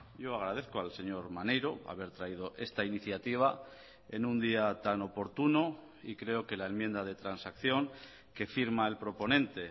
yo agradezco al señor maneiro haber traído esta iniciativa en un día tan oportuno y creo que la enmienda de transacción que firma el proponente